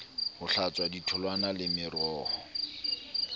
ho hlatswa ditholwana le meroho